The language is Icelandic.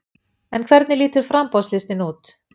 En hvernig lítur framboðslistinn út?